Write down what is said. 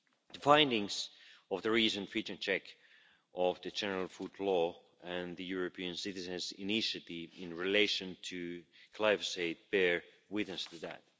The findings of the recent fitness check of the General Food Law and the European citizens' initiative in relation to glyphosate bear witness to that.